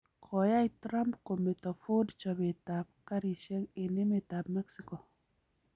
Koyai Trump kometo Ford chobeet ab karisyek eng emet ab Mexico